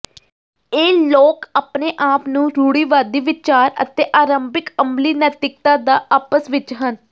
ਇਹ ਲੋਕ ਆਪਣੇ ਆਪ ਨੂੰ ਰੂੜੀਵਾਦੀ ਵਿਚਾਰ ਅਤੇ ਆਰੰਭਿਕ ਅਮਲੀ ਨੈਤਿਕਤਾ ਦਾ ਆਪਸ ਵਿੱਚ ਹਨ